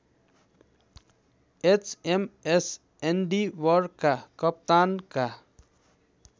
HMS एन्डिवरका कप्तानका